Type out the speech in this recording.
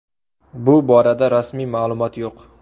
Bu borada rasmiy ma’lumot yo‘q.